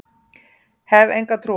Hef enga trú á honum.